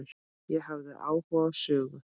Ég hafði áhuga á sögu